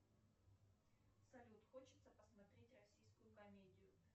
салют хочется посмотреть российскую комедию